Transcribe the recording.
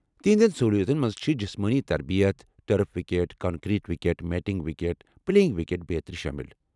تہنٛدٮ۪ن سہوُلِیاتن منٛز چھ جسمٲنی تربیت ، turf wicket, concrete wicket, matting wicket, playing kit بیترِ شٲمل ۔